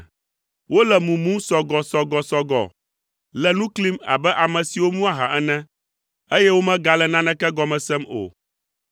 Wole mumum sɔgɔsɔgɔsɔgɔ, le nu klim abe ame siwo mu aha ene, eye womegale naneke gɔme sem o.